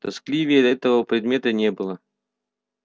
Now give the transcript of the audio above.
тоскливее этого предмета не было